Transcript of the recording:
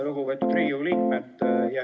Lugupeetud Riigikogu liikmed!